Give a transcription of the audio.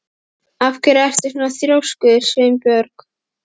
Af hverju ertu svona þrjóskur, Sveinborg?